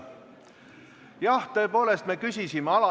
Jah, tõepoolest, me küsisime järele.